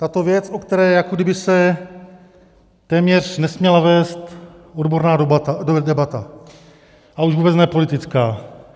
Tato věc, o které jako kdyby se téměř nesměla vést odborná debata, a už vůbec ne politická.